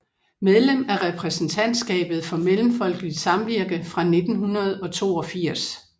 Medlem af repræsentantskabet for Mellemfolkeligt Samvirke fra 1982